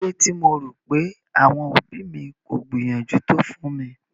Kílódé tí mo rò pé àwọn òbí mi kò gbìyànjú tó fún mi?